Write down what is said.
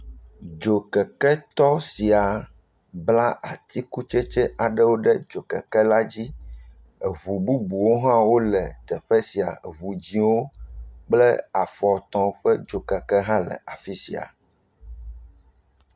Dzokeketɔ sia bla atikutsetse aɖewo ɖe dzokeke la dzi, eŋu bubuwo hã wole teƒe sia, eŋu dzɛ̃wo kple afɔtɔ ƒe dzokeke hã le afi sia.